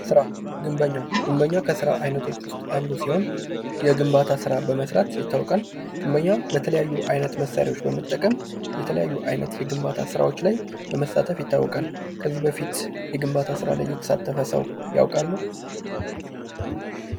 ስራ ፦ ግንበኛ ፦ ግንበኛ ከስራ አይነቶች ውስጥ አንዱ ሲሆን የግንባታ ስራ በመስራት ይታወቃል ። ግንበኛ በተለያዩ አይነት መሣሪያዎች በመጠቀም የተለያዩ አይነት የግንባታ ስራዎች ላይ በመሳተፍ ይታወቃል ።ከዚህ በፊት የግንባታ ስራ ላይ የተሳተፈ ሰው ያውቃሉ ?